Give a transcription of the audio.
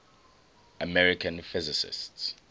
american physicists